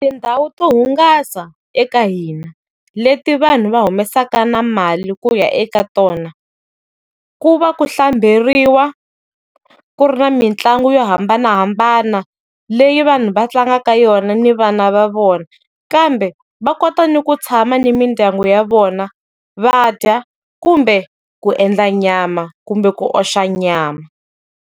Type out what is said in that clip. Tindhawu to hungasa eka hina, leti vanhu va humesaka na mali kuya eka tona, ku va ku hlamberiwa, ku ri na mitlangu yo hambanahambana, leyi vanhu va tlangaka yona ni vana va vona. Kambe va kota ni ku tshama ni mindyangu ya vona, va dya, kumbe, ku endla nyama, kumbe ku oxa nyama.